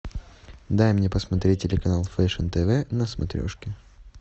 дай мне посмотреть телеканал фэшн тв на смотрешке